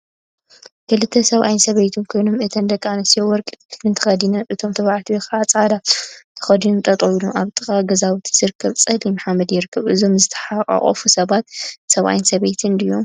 ክልተ ሰብአይ ሰበይትን ኮይኖ እተን ደቂ አንስትዮ ወርቂን ጥልፊን ተከዲነን እቶም ተባዕትዮ ከዓ ፃዕዳ ሱፍ ተከዲኖም ጠጠው ኢሎም አብ ጥቃ ገዛውቲ ዝርከብ ፀሊም ሓመድ ይርከቡ፡፡ እዞም ዝተሓቋቐፉ ሰባት ሰብአይን ሰበይትን ድዮም?